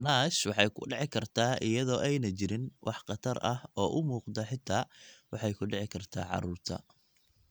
NASH waxay ku dhici kartaa iyada oo aanay jirin wax khatar ah oo muuqda oo xitaa waxay ku dhici kartaa carruurta.